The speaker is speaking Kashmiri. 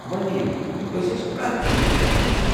وۄنۍ نِیِوو أسۍ ٲسۍ پرٮ۪تھ وِزِ بیوقوف۔